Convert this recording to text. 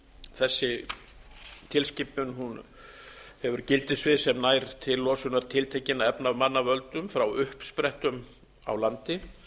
þessi tilskipun hefur gildissvið sem nær til losunar tiltekinna efna af manna völdum frá uppsprettum á landi